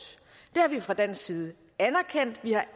det har vi fra dansk side anerkendt vi har